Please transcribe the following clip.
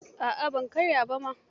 A'a ban karya ba ma.